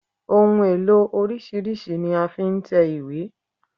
Ohun èlò oríṣìíríṣìí ni a fi ń tẹ ìwé